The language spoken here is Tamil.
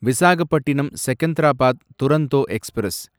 விசாகப்பட்டினம் செகந்தராபாத் துரந்தோ எக்ஸ்பிரஸ்